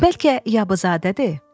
Bəlkə Yabızadədir?